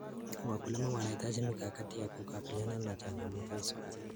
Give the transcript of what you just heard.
Wakulima wanahitaji mikakati ya kukabiliana na changamoto hizo.